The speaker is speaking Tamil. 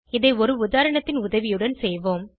இதை ஒரு உதாரணத்தின் உதவியுடன் செய்வோம்